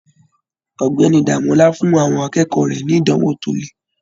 Ọ̀gbẹ́ni Demola fún àwọn akẹ́kọ̀ọ́ rẹ ní ìdánwò to lè.